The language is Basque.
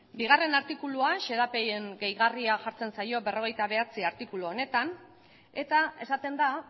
bigarrena artikuluan xedapen gehigarria jartzen zaio berrogeita bederatzigarrena artikulu honetan eta esaten da